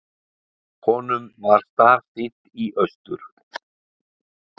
Honum var starsýnt í austur.